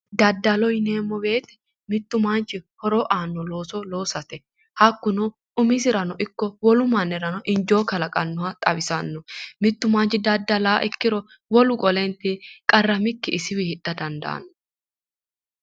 Daddaloho yineemmo woyiite mittu manchi horo aanno looso loosate. hakkuno umisirano ikko wolu mannirano injo kalqannoha xawisanno. mittu manchi daddalawo ikkiro wolu qoleenti qarramikki isiwii hidha dandaanno.